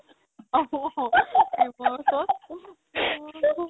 অ অ এইবোৰ চব